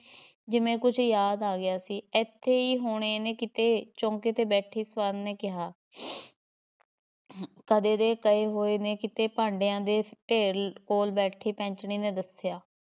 ਜਿਵੇਂ ਕੁਛ ਯਾਦ ਆ ਗਿਆ ਸੀ ਏਥੇ ਈ ਹੋਣੇ ਨੇ ਕਿਤੇ ਚੌਂਕੇ ਤੇ ਬੈਠੀ ਸਵਰਨ ਨੇ ਕਿਹਾ ਕਦੇ ਦੇ ਗਏ ਹੋਏ ਨੇ ਕਿਤੇ ਭਾਂਡਿਆਂ ਦੇ ਢੇਰ ਕੋਲ ਬੈਠੀ ਪੈਂਚਣੀ ਨੇ ਦੱਸਿਆ।